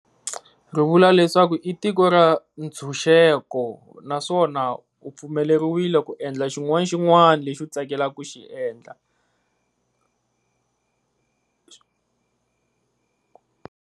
Ri vula leswaku i tiko ra ntshunxeko naswona u pfumeleriwile ku endla xin'wana xin'wani lexi u tsakelaka ku xi endla.